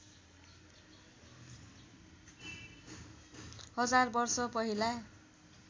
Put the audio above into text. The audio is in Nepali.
हजार वर्ष पहिला